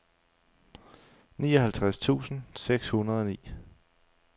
nioghalvtreds tusind seks hundrede og ni